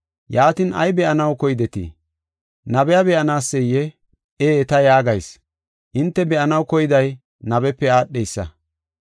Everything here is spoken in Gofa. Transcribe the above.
Yaatin, ay be7anaw keydetii? Nabiya be7anaseyee? Ee, ta yaagayis: hinte be7anaw keyday nabepe aadheysa.